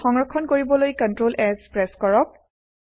file সংৰক্ষণ কৰিবলৈ CtrlS press কৰক